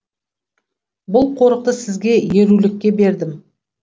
бұл қорықты сізге ерулікке бердім